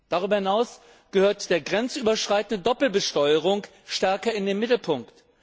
Darüber hinaus gehört die grenzüberschreitende Doppelbesteuerung stärker in den Mittelpunkt.